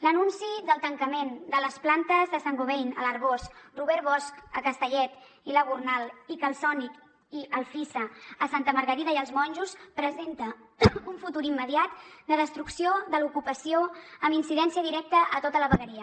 l’anunci del tancament de les plantes de saint gobain a l’arboç robert bosch a castellet i la gornal i calsonic i alfisa a santa margarida i els monjos presenta un futur immediat de destrucció de l’ocupació amb incidència directa a tota la vegueria